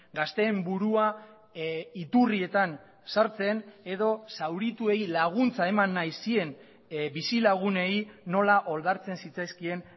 gazteen burua iturrietan sartzen edo zaurituei laguntza eman nahi zien bizilagunei nola oldartzen zitzaizkien